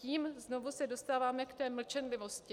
Tím znovu se dostáváme k té mlčenlivosti.